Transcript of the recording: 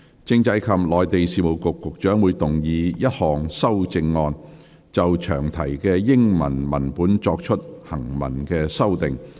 政制及內地事務局局長會動議一項修正案，就詳題的英文文本作出行文修訂。